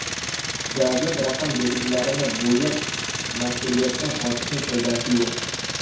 Davlat raqam belgilarini bo‘yab mas’uliyatdan qochishning foydasi yo‘q.